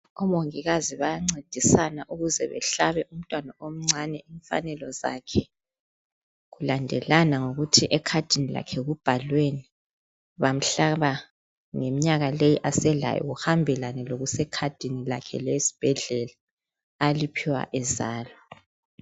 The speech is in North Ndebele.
Omongikazi bayancedisana ukuze behlabe umntwana omncane imfanelo zakhe kulandelana ngokuthi ekhadini lakhe kubhalweni bamhlaba ngemnyaka leyo aselayo kuhambelane lokuse ekhadini lakhe lesbhedlela aliphiwa ezalwa